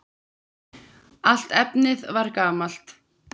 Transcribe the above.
Allt efnið var gamalt!